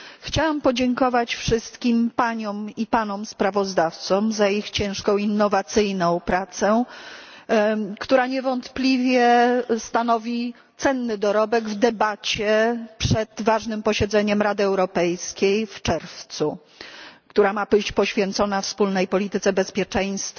Chciałam podziękować wszystkim paniom i panom sprawozdawcom za ich ciężką, innowacyjną pracę, która niewątpliwie stanowi cenny dorobek w debacie przed ważnym posiedzeniem Rady Europejskiej w czerwcu, która ma być poświęcona wspólnej polityce bezpieczeństwa